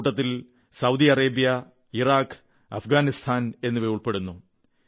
അക്കൂട്ടത്തിൽ Saudi Arabia Iraq Afghanistan എന്നിവ ഉൾപ്പെടുന്നു